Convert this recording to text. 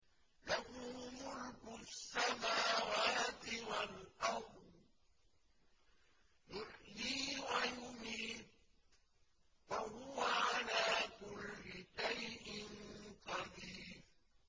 لَهُ مُلْكُ السَّمَاوَاتِ وَالْأَرْضِ ۖ يُحْيِي وَيُمِيتُ ۖ وَهُوَ عَلَىٰ كُلِّ شَيْءٍ قَدِيرٌ